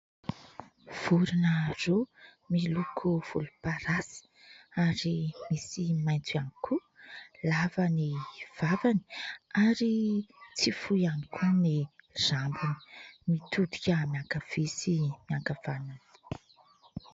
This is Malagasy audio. Vorona roa miloko volomparasy ary misy maitso ihany koa, lava ny vavany ary tsy fohy ihany koa ny rambony, mitodika miankavia sy miankavanana.